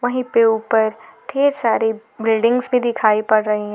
वहीं पे ऊपर ढेर सारी बिल्डिंग्स भी दिखाई पड़ रही है।